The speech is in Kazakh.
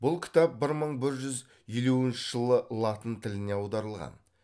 бұл кітап бір мың бір жүз елуінші жылы латын тіліне аударылған